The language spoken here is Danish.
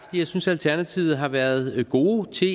jeg synes at alternativet har været gode til